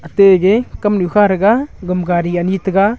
tege kamnu kha rega gama gari anyi taiga.